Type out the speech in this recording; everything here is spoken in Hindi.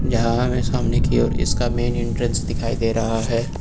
यहा हमे सामने की और इसका मेंन एंट्रेंस दिख रहा है।